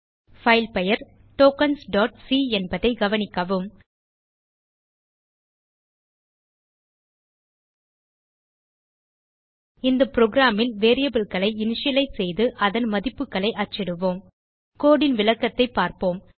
file பெயர் tokens c என்பதை கவனிக்கவும் இந்த புரோகிராம் ல் வேரியபிள்ஸ் ஐ இனிஷியலைஸ் செய்து அதன் மதிப்புகளை அச்சிடுவோம் கோடு ன் விளக்கத்தைப் பார்ப்போம்